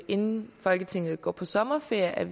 inden folketinget går på sommerferie